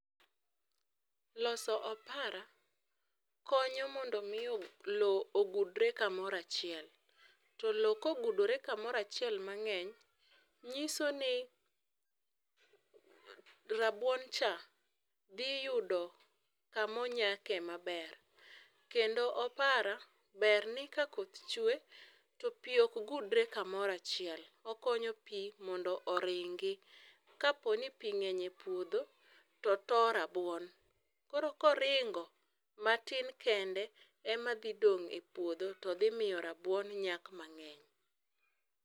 Loso opara konyo mondo mii loo ogudre kamoro achiel, to loo ka oguodore kamoro achiel mangeny nyisoni rabuon cha dhi yudo kamonyake maber, Kendo opara ber ni ka koth chwee to pii ok gudre kamoro achiel, okonyo pii mondo oringi, kaponi pii ngeny e puodho to to rabuon koro ka oringo matin kende ema dhi dong e puodho to dhi miyo rabuon nyak mangeny